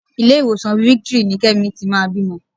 Ilé-ìwòsàn Victory ni Kẹ́mi ti máa bímọ.